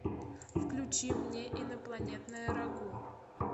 включи мне инопланетное рагу